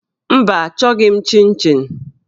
Mba, achọghị m chịn chịn